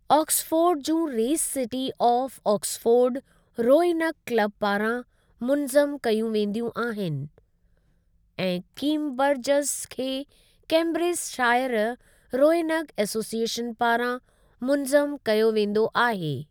Oxford जूं race city of Oxford rowing club पारां मुनज़्ज़म कयूं वेंदियूं आहिनि ऐं कीमबरजज़ खे कैंब्रिज शाइर रोइनग एसोसीएशन पारां मुनज़्ज़म कयो वेंदो आहे।